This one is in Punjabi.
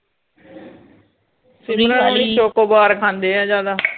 ਚੋਕੋਬਾਰ ਖਾਂਦੇ ਏ ਜ਼ਿਆਦਾ